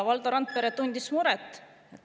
Valdo Randpere tundis muret …